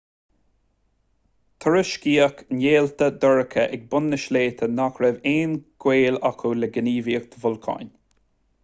tuairiscíodh néalta dorcha ag bun na sléibhe nach raibh aon ghaol acu le gníomhaíocht bholcáin